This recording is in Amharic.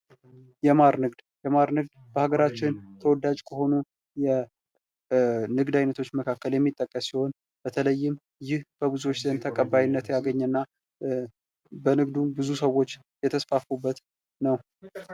የማር ንግድ ፦ የማር ንግድ በሀገራችን ተወዳጅ ከሆኑ የንግድ አይነቶች መካከል የሚጠቀስ ሲሆን በተለይም ይህ በብዙዎች ዘንድ ተቀባይነት ያለው እና በንግዱ ብዙ ሰዎች የተስፋፉበት ነው ።